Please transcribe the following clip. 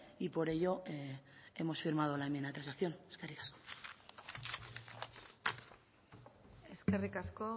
y por ello hemos firmado la enmienda de transacción eskerrik asko eskerrik asko